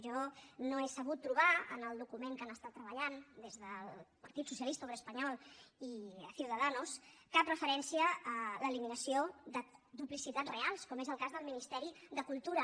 jo no he sabut trobar en el document que han treballat des del partit socialista obrer espanyol i ciudadanos cap referència a l’eliminació de duplicitats reals com és el cas del ministeri de cultura